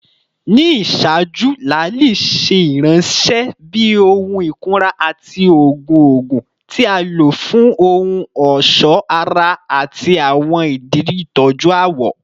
Ni iṣaaju, laali ṣe iranṣẹ bi ohun ikunra ati oogun oogun, ti a lo fun ohun ọṣọ ara ati awọn idi itọju awọ.